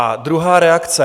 A druhá reakce.